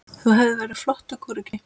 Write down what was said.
Þú hefðir verið flottur kúreki.